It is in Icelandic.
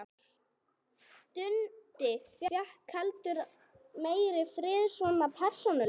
Dundi fékk heldur meiri frið, svona persónulega.